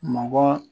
Mɔgɔ